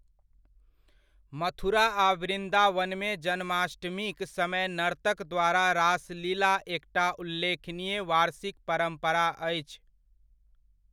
मथुरा आ वृन्दावनमे जन्माष्टमीक समय नर्तक द्वारा रासलीला एकटा उल्लेखनीय वार्षिक परम्परा अछि।